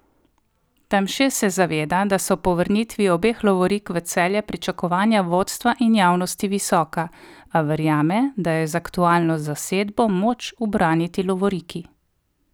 Tamše se zaveda, da so po vrnitvi obeh lovorik v Celje, pričakovanja vodstva in javnosti visoka, a verjame, da je z aktualno zasedbo moč ubraniti lovoriki.